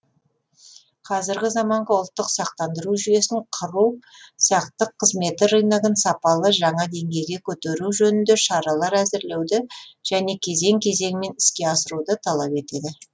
қазіргі заманғы ұлттық сақтандыру жүйесін құру сақтық қызметі рыногын сапалы жаңа деңгейге көтеру жөнінде шаралар әзірлеуді және кезең кезеңімен іске асыруды талап етеді